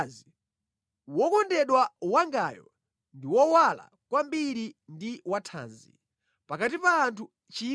Wokondedwa wangayo ndi wowala kwambiri ndi wathanzi pakati pa anthu 1,000.